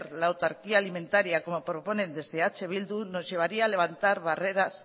la autarquía alimentaría como proponen desde eh bildu nos llevaría levantar barreras